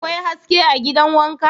Akwai haske a gidan wanka?